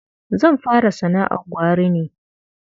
Zan fara sana'ar gwari ne.